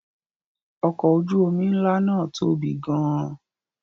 Ọkọ̀ ojú-omi ńlá náà tóbi gan-an.